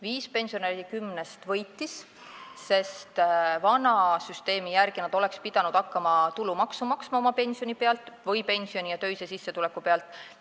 Viis pensionäri kümnest võitsid, sest vana süsteemi järgi oleksid nad pidanud hakkama oma pensioni pealt või pensioni ja töise sissetuleku pealt tulumaksu maksma.